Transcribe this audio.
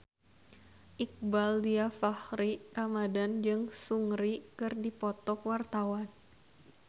Iqbaal Dhiafakhri Ramadhan jeung Seungri keur dipoto ku wartawan